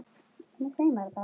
Hvað gerir þig svona seigan?